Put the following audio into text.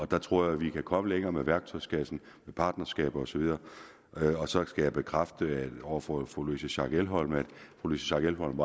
der tror jeg vi kan komme længere med værktøjskassen med partnerskaber og så videre så skal jeg bekræfte over for fru louise schack elholm at fru louise schack elholm